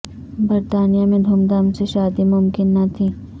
برطانیہ میں دھوم دھام سے شادی ممکن نہ تھی